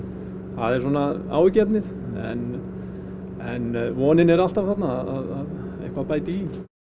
það er svona áhyggjuefnið en vonin er alltaf þarna að eitthvað bæti í